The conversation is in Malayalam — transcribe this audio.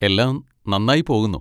എല്ലാം നന്നായി പോകുന്നു.